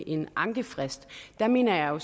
en ankefrist der mener jeg jo